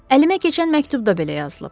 Əlimə keçən məktubda belə yazılıb.